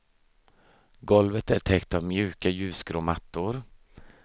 Golvet är täckt av mjuka ljusgrå mattor.